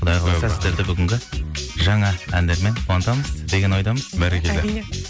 құдай қаласа сіздерді бүгінгі жаңа әндермен қуантамыз деген ойдамыз бәрекелді